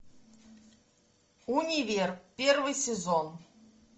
универ первый сезон